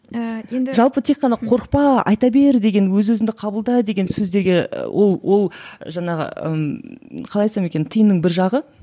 ііі енді жалпы тек қана қорықпа айта бер деген өз өзіңді қабылда деген сөздерге ол ол жаңағы ыыы қалай айтсам екен тиынның бір жағы